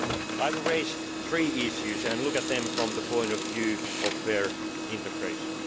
I will raise three issues and look at them from the point of view of fair integration.